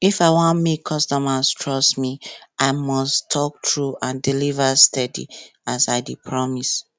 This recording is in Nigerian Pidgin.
if i wan make customers trust me i must talk true and deliver steady as i dey promise